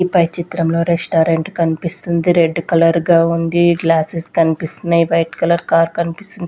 ఈ పై చిత్రంలో రెస్టారెంట్ కనిపిస్తుంది రెడ్ కలర్ గా ఉంది గ్లాసెస్ కనిపిస్తున్నాయి వైట్ కలర్ కార్ కనిపిస్తుంది.